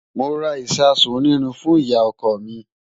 Mo ra ìṣasùn onírin fún ìyá-ọkọ mi.